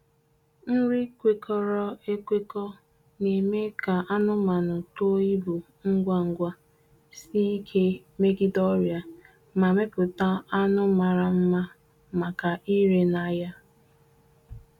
Nri kwekọrọ ekwekọ na-eme ka anụmanụ too ibu ngwa ngwa, sie ike megide ọrịa, ma mepụta anụ mara mmamaka ire n’ahịa.